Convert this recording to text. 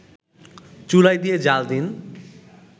চুলায় দিয়ে জ্বাল দিন